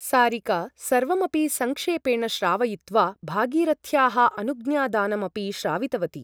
सारिका सर्वमपि सङ्क्षेपेण श्रावयित्वा भागीरथ्याः अनुज्ञादानम् अपि श्रावितवती ।